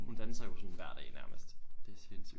Hun danser jo sådan hver dag nærmest. Det er sindssygt